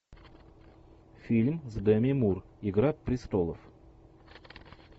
фильм с деми мур игра престолов